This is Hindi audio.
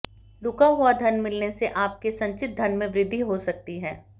रुका हुआ धन मिलने से आपके संचित धन में वृद्धि हो सकती है